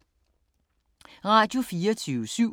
Radio24syv